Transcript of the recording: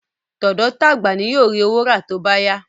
Tọ̀dọ́ tagba ni yóò ri owó ra tóbá yá